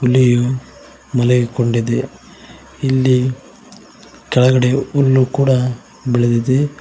ಹುಲಿಯು ಮಲಗಿಕೊಂಡಿದೆ ಇಲ್ಲಿ ಕೆಳಗಡೆ ಹುಲ್ಲು ಕೂಡ ಬೆಳೆದಿದೆ.